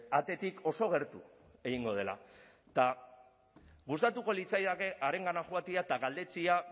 atetik oso gertu egingo dela eta gustatuko litzaidake harengana joatea eta galdetzea